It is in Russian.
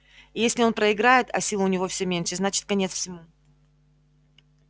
и если он проиграет а сил у него всё меньше значит конец всему